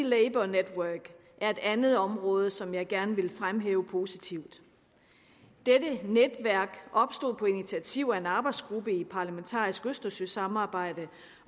labour network er et andet område som jeg gerne vil fremhæve positivt dette netværk opstod på initiativ af en arbejdsgruppe i et parlamentarisk østersøsamarbejde